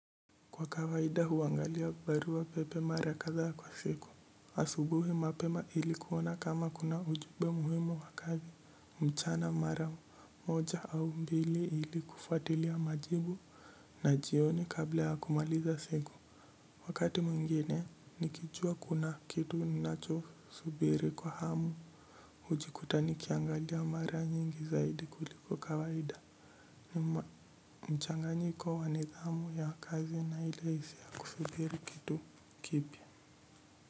Kwa kawaida huangalia barua pepe mara kadhaa kwa siku. Asubuhi mapema ili kuona kama kuna ujube muhimu wa kazi mchana mara moja au mbili ili kufuatilia majibu na jioni kabla ya kumaliza siku. Wakati mwengine nikijua kuna kitu ninacho subiri kwa hamu ujikuta nikiangalia mara nyingi zaidi kuliko kawaida. Nima mchanganyiko wa nidhamu ya kazi na ile hisia ya kusubiri kitu kipya.